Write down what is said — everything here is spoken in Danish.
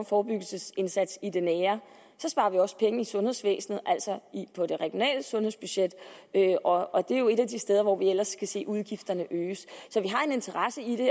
forebyggelsesindsats i det nære så sparer vi også penge i sundhedsvæsenet altså på det regionale sundhedsbudget og det er jo et af de steder hvor vi ellers kan se udgifterne øges så vi har en interesse i det